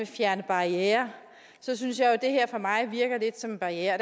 fjerne barrierer så synes jeg jo at det her for mig virker lidt som en barriere